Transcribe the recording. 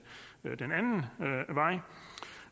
anden vej